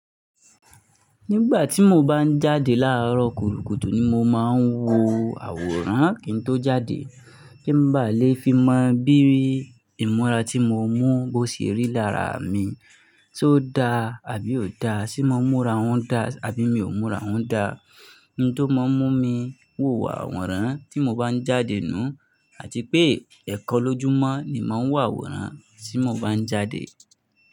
Nígbà tí mo bá ń jáde láàárọ̀ kùtùkùtù ni mo máa ń wo àwòrán kí n tó jáde. Kí n bá lè fi mọ bí i ìmúra tí mo mú bo ṣe rí lára mi, ṣo da àbí ò da, ṣe mo múra òún da àbí mi ò múra òún da. Ìn tó máa ń mú mi wò àwòrán tí mo bá ń jáde nù àti pé ẹ̀kan lójúmọ́ ni màá ń wò àwòrán tí mo bá ń jáde.